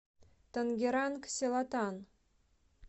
тангеранг селатан